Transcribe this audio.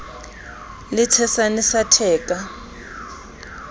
e le tshesane sa theka